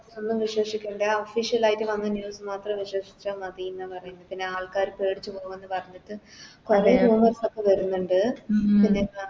ഒന്നും വിശ്വസിക്കണ്ടേ Official ആയിറ്റ് വന്ന News മാത്രം വിശ്വസിച്ച മതിന്ന് പറയ്ന്ന് പിന്നെ ആൾക്കാര് പേടിച്ച് പോകുംന്ന് പറഞ്ഞിട്ട്